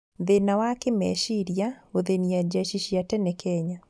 Thĩna wa kĩmeciria gũthĩnia jeci cia tene Kenya